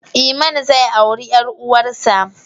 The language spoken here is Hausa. Iman zai auri ƴar uwarsa.